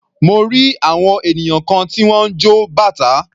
Mo rí àwọn ènìyàn kan tí wọ́n ń jọ bàtá.